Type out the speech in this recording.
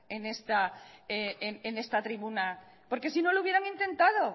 en esta tribuna porque si no lo hubieran intentado